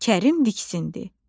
Kərim diksindi.